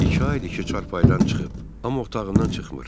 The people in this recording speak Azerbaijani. İki aydır ki, çarpaydan çıxıb, amma otağından çıxmır.